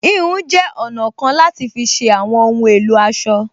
Híhun jẹ́ ọ̀nà kan láti fi ṣe àwọn ohun èlò aṣọ